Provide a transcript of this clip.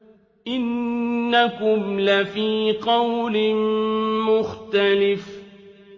إِنَّكُمْ لَفِي قَوْلٍ مُّخْتَلِفٍ